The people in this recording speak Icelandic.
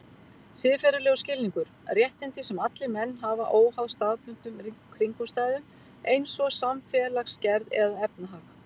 Siðferðilegur skilningur: Réttindi sem allir menn hafa óháð staðbundnum kringumstæðum eins og samfélagsgerð eða efnahag.